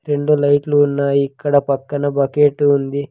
రెండు లైట్లు ఉన్నాయి ఇక్కడ పక్కన బకెట్టు ఉంది.